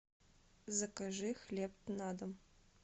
закажи хлеб на дом